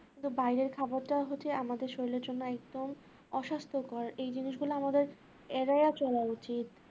কিন্তু বাইরের খাবারটা হচ্ছে আমাদের শরীরের জন্য একদম অস্বাস্থ্যকর এই জিনিসগুলো আমাদের এড়িয়ে চলা উচিত